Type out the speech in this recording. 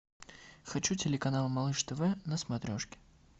хочу телеканал малыш тв на смотрешке